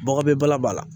Bagbɛ b'a la